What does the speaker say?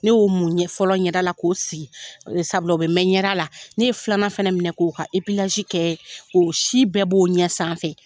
Ne y'o mun fɔlɔ ɲɛda la k'o sigi sabula o bi mɛn ɲɛda la, ne ye filanan fana minɛ k'o ka kɛ o si bɛɛ b'o ɲɛ sanfɛ.